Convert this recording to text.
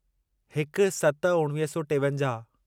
हिक सत उणिवीह सौ टेवंजाहु